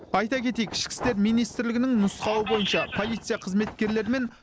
айта кетейік ішкі істер министрлігінің нұсқауы бойынша полиция қызметкерлері мен